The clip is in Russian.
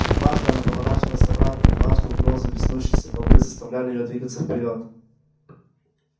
дважды она поворачивалась обратно и дважды угрозы беснующейся толпы заставляли её двигаться вперёд